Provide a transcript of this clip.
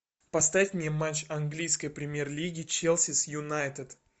поставь мне матч английской премьер лиги челси с юнайтед